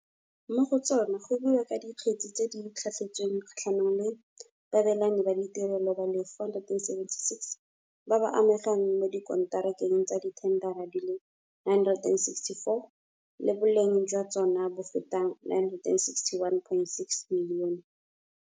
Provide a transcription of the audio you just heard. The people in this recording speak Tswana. Mo go tsona go buiwa ka dikgetse tse di tlhatlhetsweng kgatlhanong le baabelani ba ditirelo ba le 476, ba ba amegang mo dikonterakeng tsa dithendara di le 964, tse boleng jwa tsona bo fetang R961.6 milione.